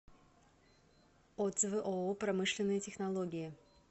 отзывы ооо промышленные технологии